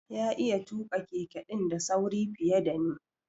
Ya iya tuka Keke din da sauri fiye da ni.